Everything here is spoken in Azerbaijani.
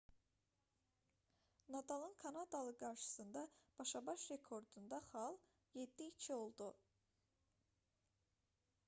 nadalın kanadalı qarşısında başa-baş rekordunda xal 7:2 oldu